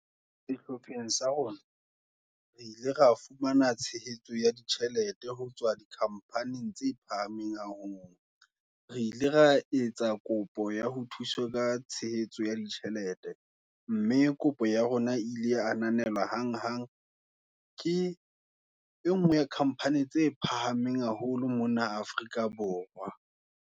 Sehlopheng sa rona, re ile ra fumana tshehetso, ya ditjhelete ho tswa di companing, tse phahameng haholo, re ile ra etsa kopo, ya ho thuswa ka tshehetso ya ditjhelete, mme kopo ya rona ile ananelwa, hang hang. Ke e ngwe, ya company tse phahameng, haholo mona Afrika Borwa.